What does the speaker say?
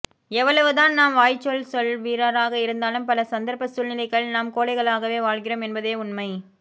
எவ்வளவுதான் நாம் வாய்ச்சொல்ச்சொல் வீரராக இருந்தாலும் பல சந்தரப்ப சூழ்நிலைகளில் நாம் கோழைகளாகவே வாழ்கிறோம் என்பதே உண்மை